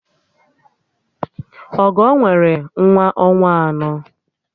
Ọgọ nwere nwa ọnwa anọ